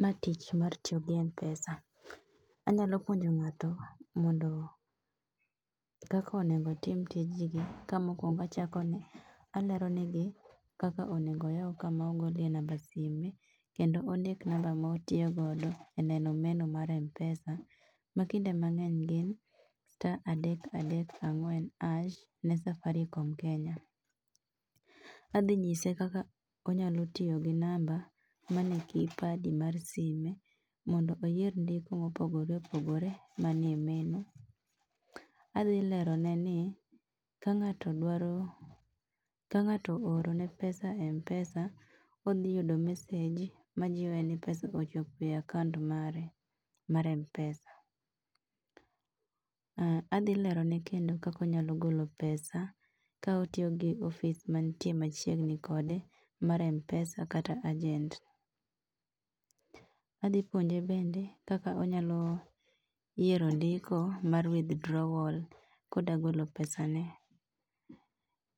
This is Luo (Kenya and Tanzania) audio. Ma tich mar tiyo gi M-pesa. Anyalo puonjo ng'ato mondo kak onego otim tijni, ka mokwongo achako ne, alero negi kaka onego oyaw kama ogolie namba sime kendo ondik namba ma otiyo godo e neno meno mar M-pesa, ma kinde mang'eny gin, sta adek adek ang'wen ash ne Safaricom Kenya. Adhinyise kaka onyalo iyo gi namba, mane kipadi mar sime mondo oyier ndiko mopogore opogore manie meno. Adhilerone ni, ka ng'ato dwaro, ka ng'ato oorone pesa e M-pesa, odhiyudo message majiwe ni pesa ochopo e akaont mare mar M-pesa um adhilero kendo kak onyalo golo pesa ka otiyogi ofis mantie machiegni kode mar M-pesa kata ajent. Adhipuonje bende kaka onyalo yiero ndiko mar withdrawal koda golo pesane.